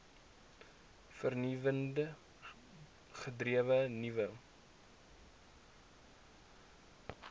vernuwend gedrewe nuwe